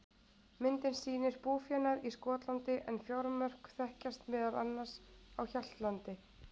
Myndin sýnir búfénað í Skotlandi, en fjármörk þekkjast meðal annars á Hjaltlandi.